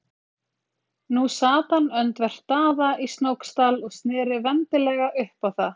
Nú sat hann öndvert Daða í Snóksdal og sneri vendilega upp á það.